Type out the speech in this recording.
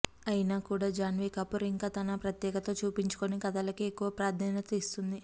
అయినా కూడా జాన్వీ కపూర్ ఇంకా తన ప్రత్యేకత చూపించుకుని కథలకే ఎక్కువ ప్రాధాన్యత ఇస్తుంది